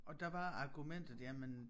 Og der var argumentet jamen